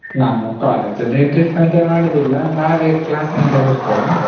ನಮ್ಮ college ಅಲ್ಲಿ trip ಅಂತ ಮಾಡುದಿಲ್ಲ ನಾವೇ class ಇಂದ ಹೋಗ್ತೇವೆ.